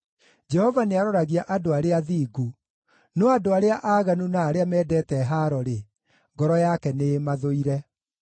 Jehova nĩaroragia andũ arĩa athingu, no andũ arĩa aaganu na arĩa mendete haaro-rĩ, ngoro yake nĩĩmathũire.